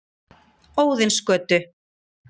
Óðinsgötu